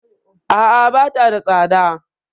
A'a, bata da tsada.